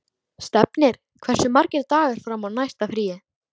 Stefnir, hversu margir dagar fram að næsta fríi?